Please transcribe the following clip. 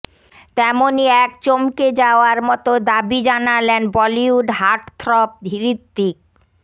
তেমনই এক চমকে যাওয়ার মতো দাবি জানালেন বলিউড হার্টথ্রব হৃতিক